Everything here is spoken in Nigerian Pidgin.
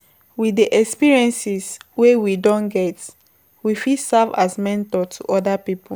With the experiences wey we don get, we fit serve as mentor to oda pipo